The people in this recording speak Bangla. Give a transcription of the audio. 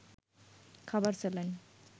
খাবার স্যালাইন